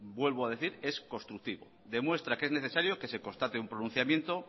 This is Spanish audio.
vuelvo a decir es constructivo demuestra que es necesario que se constate un pronunciamiento